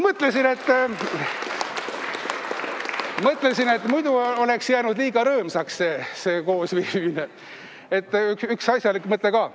Ma mõtlesin, et muidu oleks jäänud liiga rõõmsaks see koosviibimine, et olgu üks asjalik mõte ka.